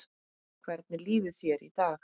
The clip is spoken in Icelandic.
Hvernig líður þér í dag?